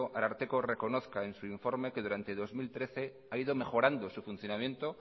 ararteko reconozca en su informe que durante el dos mil trece ha ido mejorando su funcionamiento